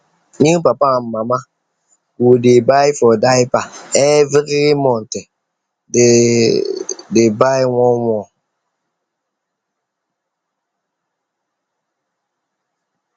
new papa and mama go dey buy for diaper every month than dey buy oneone